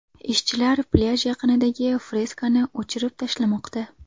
Ishchilar plyaj yaqinidagi freskani o‘chirib tashlamoqda.